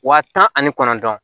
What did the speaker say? Wa tan ani kɔnɔntɔn